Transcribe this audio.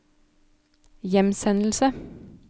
hjemsendelse